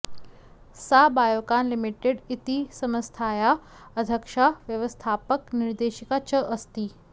सा बयोकान् लिमिटेड् इति सम्स्थायाः अद्यक्शा व्यवस्थापक निर्देशिका च अस्ति